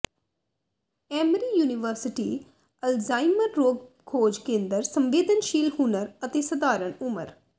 Emory University Alzheimer ਰੋਗ ਖੋਜ ਕੇਂਦਰ ਸੰਵੇਦਨਸ਼ੀਲ ਹੁਨਰ ਅਤੇ ਸਧਾਰਨ ਉਮਰ